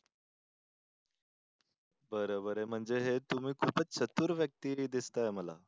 बरं बरं. म्हणजे हे तुम्ही खूपच चतुर व्यक्ती दिसताय मला.